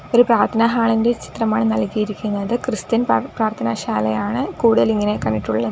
ഒരു പ്രാർത്ഥന ഹാൾ ഇന്റെ ചിത്രമാണ് നൽകിയിരിക്കുന്നത് ക്രിസ്ത്യൻ പാർ പ്രാർത്ഥന ശാലയാണ് കൂടുതൽ ഇങ്ങനെ കണ്ടിട്ടുള്ളത്.